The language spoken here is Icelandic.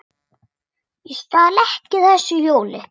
Ég stal ekki þessu hjóli!